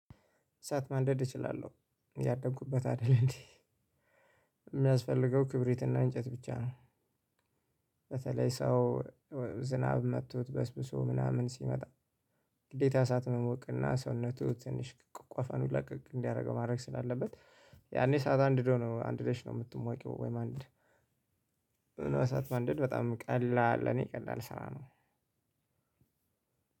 እሳት ማንደድ እችላለሁ ያደጉበት አይደል እንዴ? የሚያስፈልገው ክብሪትና እንጨት ብቻ ነው። በተለይ ሰው ዝናብ መቶት በስብሶ ምናምን ሲመጣ ግዴታ እሳት መሞቅና ሰውነቱ ትንሽ ቆፈኑ ለቀቅ እንዲያደርገው ማድረግ ስላለበት። ያኔ እሳት አንድዶ ነው አንድደሽ ነው የምትሞቂው። ወይም አንድ እና እሳት ማንደድ በጣም ቀላል ለኔ ቀላል ስራ ነው።